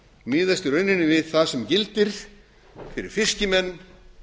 miðast í rauninni við það sem gildir fyrir fiskimenn